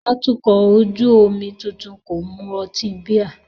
Atukọ̀ ojú omi tuntun kò mu ọtí bíà